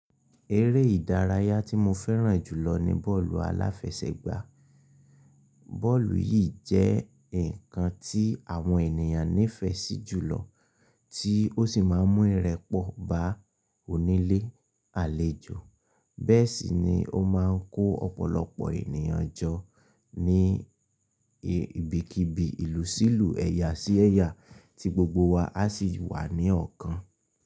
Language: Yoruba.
Eré ìdárayá tí mo fẹ́ràn jùlọ ni bọ́ọ̀lù aláfẹsẹ̀gbá. Bọ́ọ̀lù yìí jẹ́ ǹkan tí àwọn ènìyàn nífẹsí jùlọ, tí ó sì máa ń mú ìrẹ́pọ̀ bá onílé àlejò. Bẹ́ẹ̀ sì ni ó máa ń kó ọ̀pọ̀lọpọ̀ ènìyàn jọ ní ibikíbi ìlú sílù, ẹ̀yà sí ẹ̀yà tí gbogbo wa a sì wà ní ọ̀kan.